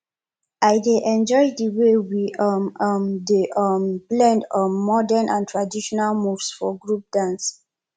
i dey enjoy the way we um um dey um blend um modern and traditional moves for group dance